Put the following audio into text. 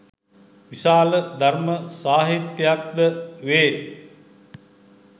විශාල ධර්ම සාහිත්‍යයක් ද වේ